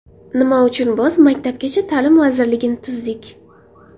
Nima uchun biz Maktabgacha ta’lim vazirligini tuzdik?